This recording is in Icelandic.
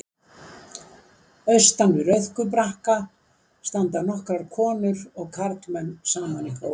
Austan við Rauðku brakka standa nokkrar konur og karlmenn saman í hóp.